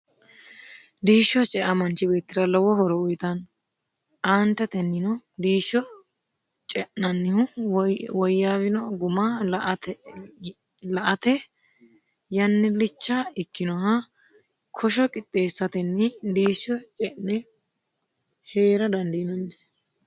diisho cea manchi beetira lowo horo uyitanno. aanteteno diisho ce'nannihu woyawino guma la"ate yannilicha ikkinoha kosho qixxeesatenni diisho ce'ne heera dandinanni.